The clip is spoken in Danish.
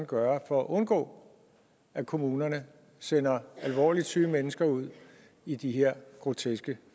gøre for at undgå at kommunerne sender alvorligt syge mennesker ud i de her groteske